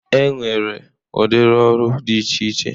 E nwere udiri ọrụ dị iche iche.